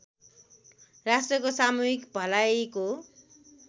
राष्ट्रको सामूहिक भलाइको